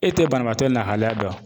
E tɛ banabaatɔ lahalaya dɔn.